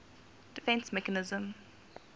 defence mechanism